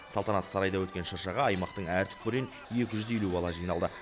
салтанатты сарайда өткен шыршаға аймақтың әр түкпірінен екі жүз елу бала жиналды